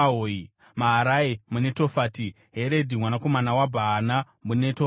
Maharai muNetofati, Heredhi mwanakomana waBhaana muNetofati,